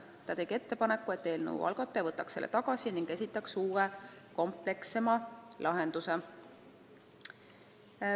Ta tegi ettepaneku, et eelnõu algataja võtaks selle tagasi ning esitaks uue, komplekssema lahenduse.